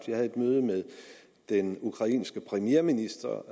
jeg havde et møde med den ukrainske premierminister